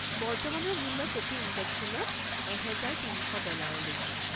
বৰ্তমানৰ মূল্য প্ৰতি ইনজেকশ্যনত ১৩০০ ডলাৰকৈ।